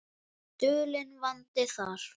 Dulinn vandi þar.